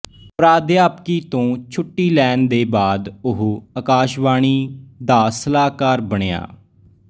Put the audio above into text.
ਪ੍ਰਾਧਿਆਪਕੀ ਤੋਂ ਛੁੱਟੀ ਲੈਣ ਦੇ ਬਾਅਦ ਉਹ ਆਕਾਸ਼ਵਾਣੀ ਦੇ ਸਲਾਹਕਾਰ ਬਣਿਆ